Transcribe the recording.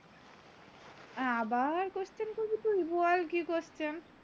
আবার question করবি তুই বল কি question